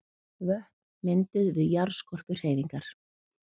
Vötn mynduð við jarðskorpuhreyfingar.